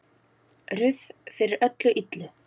Ruth fyrir öllu illu.